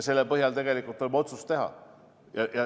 Selle põhjal tuleb otsus teha.